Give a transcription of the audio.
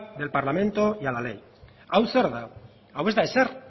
del parlamento y a ley hau zer da hau ez da ezer